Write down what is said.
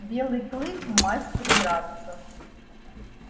белый клык мастер драться